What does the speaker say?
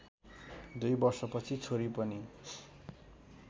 दुई वर्षपछि छोरी पनि